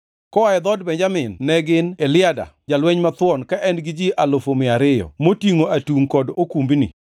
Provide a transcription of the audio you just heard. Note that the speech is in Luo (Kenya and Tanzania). Koa e dhood Benjamin ne gin Eliada, jalweny mathuon ka en gi ji alufu mia ariyo (200,000) motingʼo atungʼ kod okumbni;